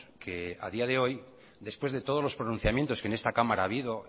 que a día de hoy después de todos los pronunciamientos que en esta cámara ha habido